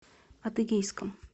адыгейском